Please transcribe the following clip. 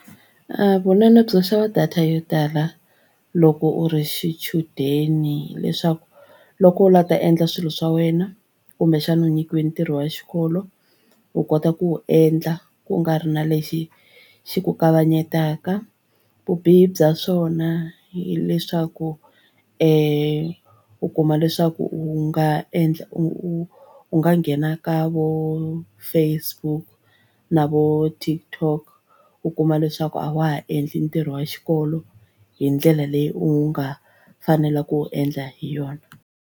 Vunene byo xava data yo tala loko u ri xichudeni hileswaku loko u lava ku ta endla swilo swa wena kumbexana u nyikiwe ntirho wa xikolo u kota ku wu endla ku nga ri na lexi xi ku kavanyetaka. Vubihi bya swona hileswaku u kuma leswaku u nga endla u nga nghena ka vona vo Facebook na vo TikTok u kuma leswaku a wa ha endli ntirho wa xikolo hi ndlela leyi u nga fanela ku endla hi yona.